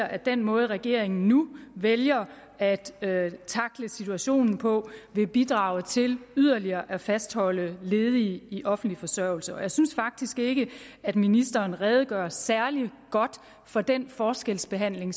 at den måde regeringen nu vælger at at tackle situationen på vil bidrage til yderligere at fastholde ledige i offentlig forsørgelse og jeg synes faktisk ikke at ministeren redegør særlig godt for den forskelsbehandling